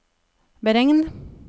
beregn